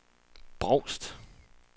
Brovst